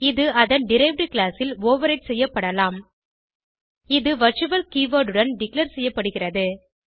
இது அதன் derived class ல் ஓவர்ரைடு செய்யப்படலாம் இது வர்ச்சுவல் கீவர்ட் உடன் டிக்ளேர் செய்யப்படுகிறது